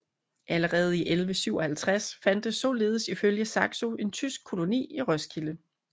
Allerede i 1157 fandtes således ifølge Saxo en tysk koloni i Roskilde